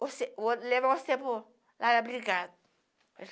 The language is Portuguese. você. Vou levar você para o